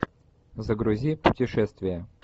загрузи путешествия